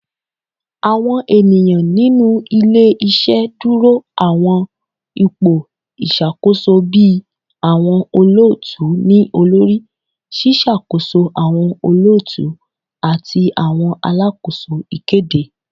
Awọn eniyan ninu ile-iṣẹ duro awọn ipo iṣakoso bii awọn olootu-ni-olori, ṣiṣakoso awọn olootu, ati awọn alakoso ikede